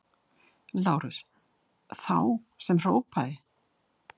LÁRUS: Þá sem hrópaði!